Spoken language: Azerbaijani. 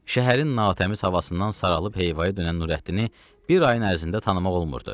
Şəhərin natəmiz havasından saralıb heyvaya dönən Nürəddini bir ayın ərzində tanımaq olmurdu.